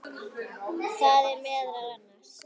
Það eru meðal annars